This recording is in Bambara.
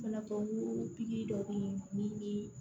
Fana ko pikiri dɔ bɛ yen ni